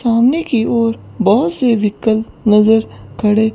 सामने की ओर बहुत से विकल नजर खड़े--